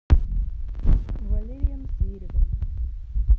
валерием зверевым